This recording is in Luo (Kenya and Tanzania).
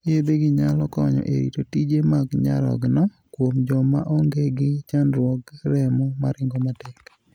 Yedhegi nyalo konyo e rito tije mag nyarogno kuom joma onge gi chandruog remo maringo matek.